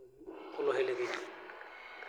irbaribarani lo losho le kenya.